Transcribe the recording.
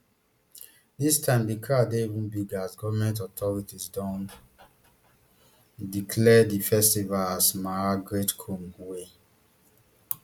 dis time di crowd dey even bigger as goment authorities don declare di festival as maha great kumbh wey